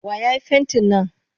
Wa ya yi fentin nan?